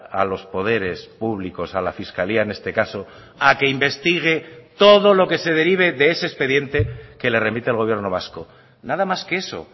a los poderes públicos a la fiscalía en este caso a que investigue todo lo que se derive de ese expediente que le remite el gobierno vasco nada más que eso